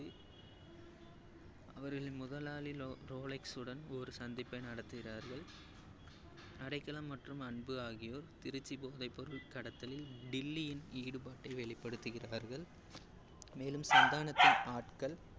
அவர்களின் முதலாளி லோ~ ரோலக்சுடன் ஒரு சந்திப்பை நடத்துகிறார்கள். அடைக்கலம் மற்றும் அன்பு ஆகியோர் திருச்சி போதைப்பொருள் கடத்தலில் டில்லியின் ஈடுபாட்டை வெளிப்படுத்துகிறார்கள் மேலும் சந்தானத்தின் ஆட்கள்